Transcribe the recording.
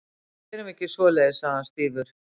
Við gerum ekki svoleiðis- sagði hann stífur.